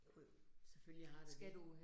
Jo jo, selvfølgelig har der det